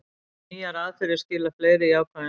Nýjar aðferðir skila fleiri jákvæðum sýnum